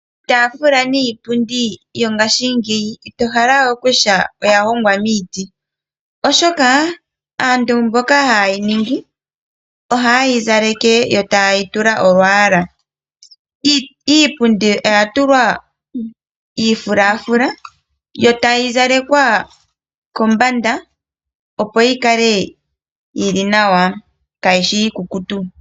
Iitafula niipundi yongashingeyi ito hala okutya oya hongwa miiti oshoka aantu mboka hayi ningi oha yi zaleke yo taayi tula olwaala. Iipundi oya tulwa iifulafula yo tayi zalekwa kombanda opo yi kale yili nawa kayi shi iikukutu.